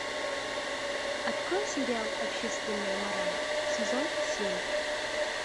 открой сериал общественная мораль сезон семь